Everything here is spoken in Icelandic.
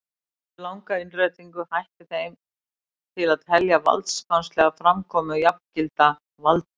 Eftir langa innrætingu hætti þeim til að telja valdsmannslega framkomu jafngilda valdi.